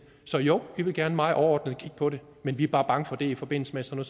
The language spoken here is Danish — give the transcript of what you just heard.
så jo vi vil gerne meget overordnet kigge på det men vi er bare bange for det i forbindelse med sådan